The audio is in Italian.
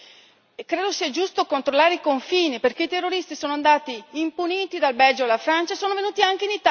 credo sia giusto controllare i confini, perché i terroristi sono andati impuniti, dal Belgio alla Francia e sono venuti anche in Italia.